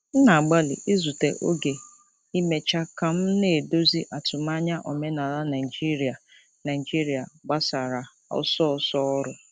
M na-agbalị izute oge imecha ka m na-edozi atụmanya omenala Naijiria Naijiria gbasara ọsọ ọsọ ọrụ.